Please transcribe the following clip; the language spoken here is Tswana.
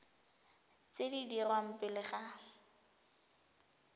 tse di dirwang pele ga